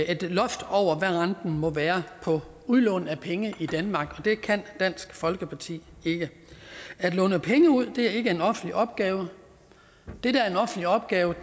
et loft over hvad renten må være på udlån af penge i danmark og det kan dansk folkeparti ikke at låne penge ud er ikke en offentlig opgave det der er en offentlig opgave